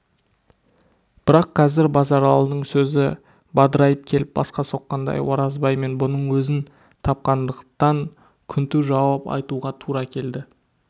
бірақ қазір базаралының сөзі бадырайып келіп басқа соққандай оразбай мен бұның өзін тапқандықтан күнту жауап айтуға тура келді